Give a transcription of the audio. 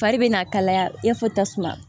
Fari bɛ na kalaya i n'a fɔ tasuma